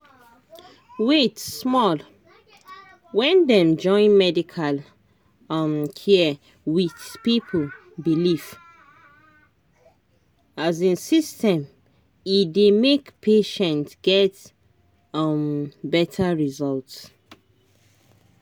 wait small — when dem join medical um care with people belief um system e dey make patient get um better result.